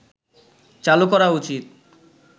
চালু করা উচিত